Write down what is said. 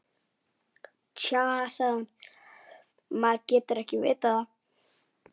Nei- sagði